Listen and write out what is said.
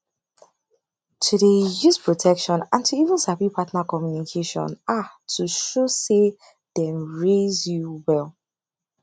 to dey use protection and to even sabi partner communication a to show say dem raise you well